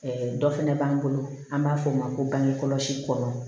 dɔ fɛnɛ b'an bolo an b'a fɔ o ma ko bange kɔlɔsi kɔ